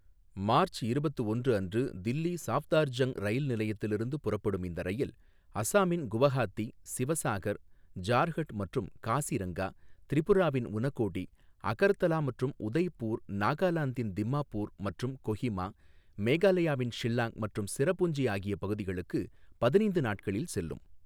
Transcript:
March இருபத்து ஒன்று அன்று தில்லி சாஃப்தார்ஜங் ரயில் நிலையத்திலிருந்து புறப்படும் இந்த ரயில், அசாமின் குவஹாத்தி, சிவசாகர், ஜார்ஹட் மற்றும் காசிரங்கா, திரிபுராவின் உனகோடி, அகர்தலா மற்றும் உதய்பூர், நாகாலாந்தின் திம்மாப்பூர் மற்றும் கொஹிமா, மேகாலயாவின் ஷில்லாங் மற்றும் சிரபுஞ்சி ஆகிய பகுதிகளுக்கு பதினைந்து நாட்களில் செல்லும்.